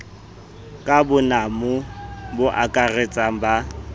ka bonamo bo akaratsang ba